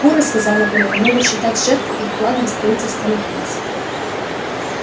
куры сказал наполеон могут считать жертву их вкладом в строительство мельниц